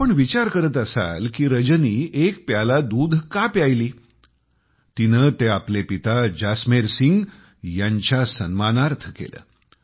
आपण विचार करत असाल कि रजनी एक प्याला दुध का प्यायली तिने ते आपले पिता जसमेर सिंग यांच्यासाठी केलं